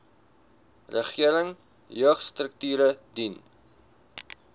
regering jeugstrukture dien